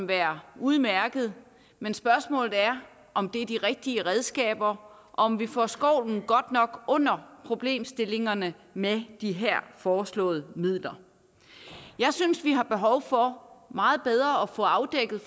være udmærket men spørgsmålet er om det er de rigtige redskaber og om vi får skovlen godt nok under problemstillingerne med de her foreslåede midler jeg synes vi har behov for meget bedre at få afdækket